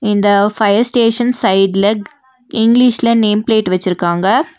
இந்த fire station சைடுல இங்கிலீஷ்ல நேம் பிளேட் வெச்சிருக்காங்க.